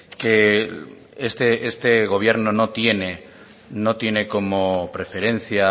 que este gobierno no tiene no tiene como preferencia